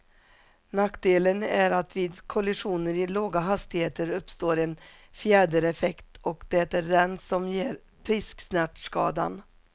Nackdelen är att vid kollisioner i låga hastigheter uppstår en fjädereffekt, och det är den som ger pisksnärtskadan.